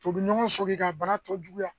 Tubabu ɲɔgɔn sɔki ka bana tɔ juguya